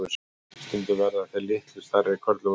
stundum verða þeir litlu stærri körlum að bráð